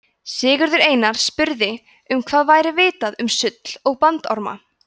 sigurður einar spurði um hvað væri vitað um sull og bandorma